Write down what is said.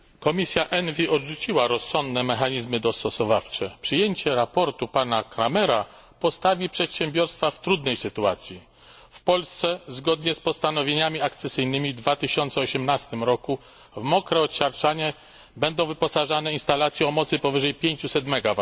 Panie Przewodniczący! Komisja ENVI odrzuciła rozsądne mechanizmy dostosowawcze. Przyjęcie sprawozdania pana Krahmera postawi przedsiębiorstwa w trudnej sytuacji. W Polsce zgodnie z postanowieniami akcesyjnymi w 2018 roku w mokre odsiarczanie będą wyposażane instalacje o mocy powyżej 500 MW.